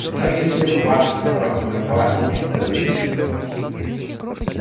многие шли в рубашках с короткими рукавами некоторые в бриджах